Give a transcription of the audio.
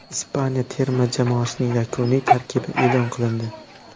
Ispaniya terma jamoasining yakuniy tarkibi e’lon qilindi.